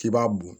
K'i b'a bɔn